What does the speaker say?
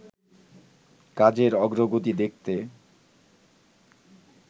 কাজের অগ্রগতি দেখতে